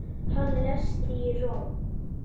Hann lést í Róm.